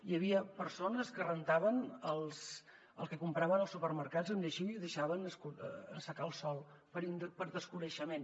hi havia persones que rentaven el que compraven als supermercats amb lleixiu i ho deixaven assecar el sol per desconeixement